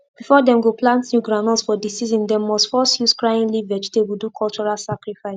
before dem go plant new groundnut for di season dem must first use crying leaf vegetable do cultural sacrifice